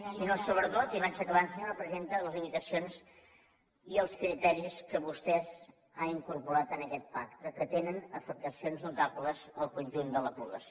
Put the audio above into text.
sinó sobretot i vaig acabant senyora presidenta les limitacions i els criteris que vostès han incorporat en aquest pacte que tenen afectacions notables al conjunt de la població